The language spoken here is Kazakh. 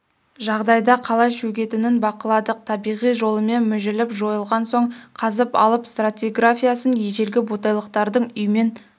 жағдайда қалай шөгетінін бақыладық табиғи жолымен мүжіліп жойылған соң қазып алып стратиграфиясын ежелгі ботайлықтардың үймен